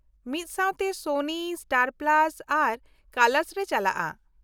ᱢᱤᱫ ᱥᱟᱶᱛᱮ ᱥᱚᱱᱤ, ᱥᱴᱟᱨ ᱯᱞᱟᱥ ᱟᱨ ᱠᱟᱞᱟᱨᱥ ᱨᱮ ᱪᱟᱞᱟᱜ-ᱟ᱾